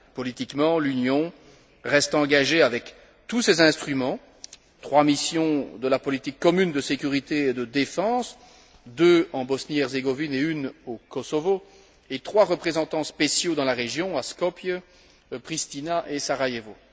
Politiquement, l'Union reste engagée avec tous ses instruments trois missions de la politique commune de sécurité et de défense, deux en Bosnie et Herzégovine et une au Kosovo, et trois représentants spéciaux dans la région, à Skopje, Pristina et Sarajevo.